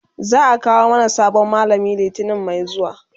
za'a kawo mana sabon mallami litani Mai zuwa